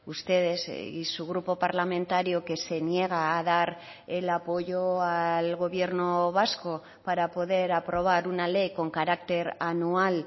ustedes y su grupo parlamentario que se niega a dar el apoyo al gobierno vasco para poder aprobar una ley con carácter anual